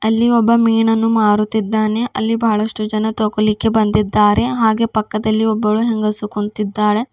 ಅಲ್ಲಿ ಒಬ್ಬ ಮೀನನ್ನು ಮಾರುತಿದ್ದಾನೆ ಅಲ್ಲಿ ಬಹಳಷ್ಟು ಜನ ತಗೊಲಿಕ್ಕೆ ಬಂದಿದ್ದಾರೆ ಹಾಗೆ ಪಕ್ಕದಲ್ಲಿ ಒಬ್ಬಳು ಹೆಂಗಸು ಕುಂತಿದ್ದಾಳೆ.